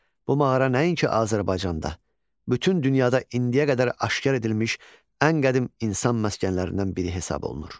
Bu mağara nəinki Azərbaycanda, bütün dünyada indiyə qədər aşkar edilmiş ən qədim insan məskənlərindən biri hesab olunur.